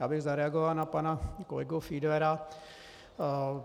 Já bych zareagoval na pana kolegu Fiedlera.